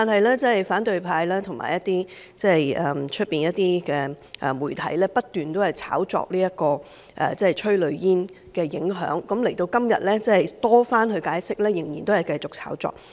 可是，反對派和外面部分媒體不斷炒作催淚煙的影響，直至今天，即使政府已多番解釋，他們仍然繼續炒作。